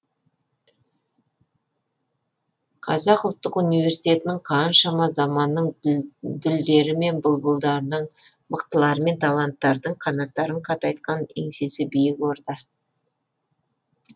қазақ ұлттық университетінің қаншама заманның дүлдері мен бұлбұлдарының мықтылары мен таланттардың қанаттарын қатайтқан еңсесі биік орда